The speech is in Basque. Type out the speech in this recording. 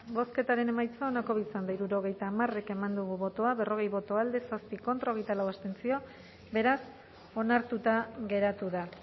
bozketaren emaitza onako izan da hirurogeita hamar eman dugu bozka berrogei boto alde zazpi contra hogeita lau abstentzio beraz onartuta geratu da